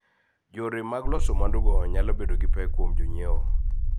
Yore mag loso mwandugo nyalo bedo gi pek kuom jonyiewo.